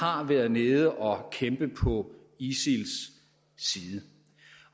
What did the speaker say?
har været nede og kæmpe på isils side